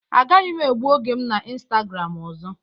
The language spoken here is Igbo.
Agaghị m egbu oge m na Instagram ọzọ.